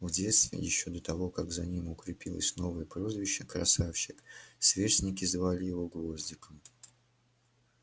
в детстве ещё до того как за ним укрепилось новое прозвище красавчик сверстники звали его гвоздиком